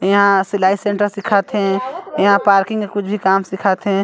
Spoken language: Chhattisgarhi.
यहाँ सिलाई सेंटर सिखा थे यहाँ पार्किंग या कुछ भी काम सिखा थे।